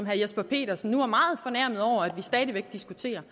jesper petersen nu var meget fornærmet over at vi stadig væk diskuterer